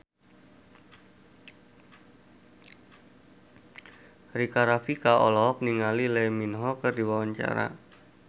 Rika Rafika olohok ningali Lee Min Ho keur diwawancara